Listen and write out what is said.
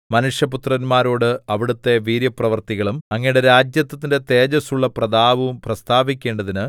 മനുഷ്യപുത്രന്മാരോട് അവിടുത്തെ വീര്യപ്രവൃത്തികളും അങ്ങയുടെ രാജത്വത്തിന്റെ തേജസ്സുള്ള പ്രതാപവും പ്രസ്താവിക്കേണ്ടതിന്